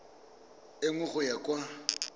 e nngwe go ya kwa